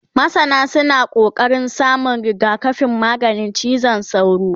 masana suna ƙoƙarin samun rigakafin maganin cizon sauro